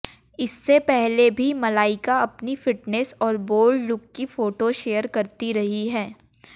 इससे पहले भी मलाइका अपनी फिटनेस और बोल्ड लुक की फोटोज शेयर करती रही हैं